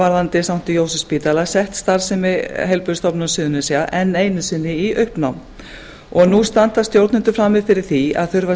varðandi sankti jósefsspítala sett starfsemi heilbrigðisstofnunar suðurnesja enn einu sinni í uppnám og nú standa stjórnendur frammi fyrir því að þurfa að